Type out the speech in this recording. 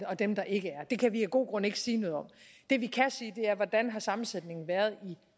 og dem der ikke er det kan vi af gode grunde ikke sige noget om det vi kan sige er hvordan sammensætningen har været i